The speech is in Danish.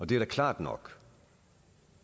det er da klart nok